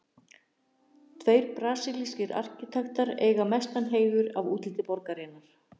Tveir brasilískir arkitektar eiga mestan heiður að útliti borgarinnar.